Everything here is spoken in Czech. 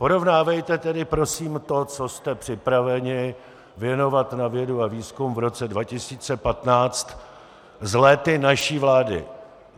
Porovnávejte tedy prosím to, co jste připraveni věnovat na vědu a výzkum v roce 2015, s léty naší vlády.